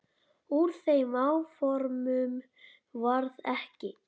Úr þeim áformum varð ekki.